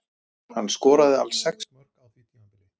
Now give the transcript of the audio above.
Hann skoraði alls sex mörk á því tímabili.